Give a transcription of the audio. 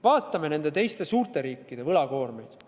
Vaatame teiste suurte riikide võlakoormust.